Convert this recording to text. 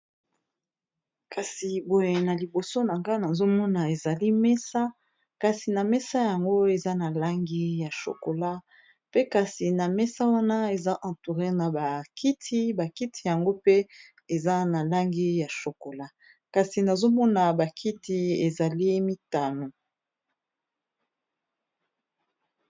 kasi boye na liboso na nga nazomona ezali mesa kasi na mesa yango eza na langi ya shokola pe kasi na mesa wana eza entouré na bakiti bakiti yango pe eza na langi ya shokola kasi nazomona bakiti ezali mitano